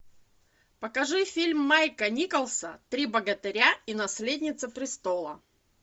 покажи фильм майка николса три богатыря и наследница престола